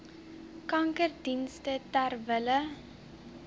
kankerdienste ter wille